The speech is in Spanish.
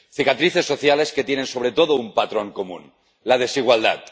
Cicatrices sociales que tienen sobre todo un patrón común la desigualdad.